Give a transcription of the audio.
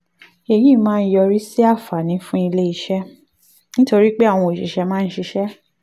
èyí máa ń yọrí sí àǹfààní fún ilé iṣẹ́ nítorí pé àwọn òṣìṣẹ́ máa ń ṣiṣẹ́